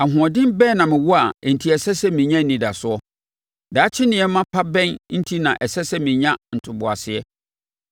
“Ahoɔden bɛn na mewɔ a enti ɛsɛ sɛ menya anidasoɔ? Daakye nneɛma pa bɛn enti na ɛsɛ sɛ menya ntoboaseɛ?